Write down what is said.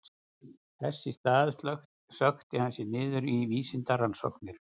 Þess í stað sökkti hann sér niður í vísindarannsóknir.